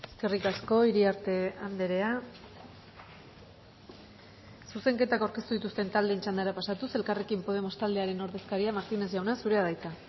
eskerrik asko iriarte andrea zuzenketak aurkeztu dituzten taldeen txandara pasatuz elkarrekin podemos taldearen ordezkaria martínez jauna zurea da hitza